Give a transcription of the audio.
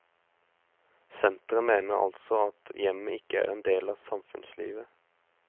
Senteret mener altså at hjemmet ikke er en del av samfunnslivet.